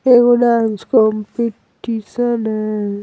ये कोई dance competition है।